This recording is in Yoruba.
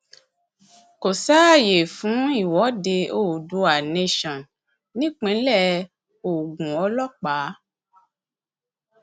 kò sáàyè fún ìwọde oodua nation nípínlẹ ogunọlọpàá